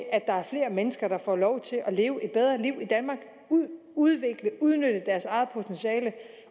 er flere mennesker der får lov til at leve og udvikle og udnytte deres eget potentiale